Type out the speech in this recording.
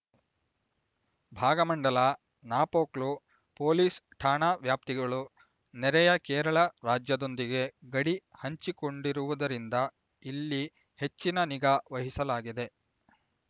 Bhagamandala Napoklu police ಠಾಣಾ ವ್ಯಾಪ್ತಿಗಳು ನೆರೆಯ ಕೇರಳ ರಾಜ್ಯದೊಂದಿಗೆ ಗಡಿ ಹಂಚಿಕೊಂಡಿರುವುದರಿಂದ ಇಲ್ಲಿ ಹೆಚ್ಚಿನ ನಿಗಾ ವಹಿಸಲಾಗಿದೆ